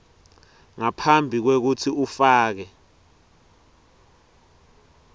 ngaphambi kwekutsi ufake